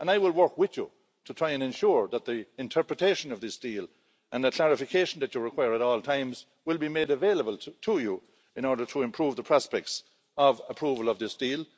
I will work with you to try and ensure that the interpretation of this deal and the clarification that you require at all times will be made available to you in order to improve the prospects of approval of this deal.